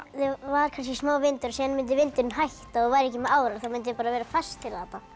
var kannski smá vindur síðan myndi vindurinn hætta og væru ekki árar þá myndu þeir vera fastir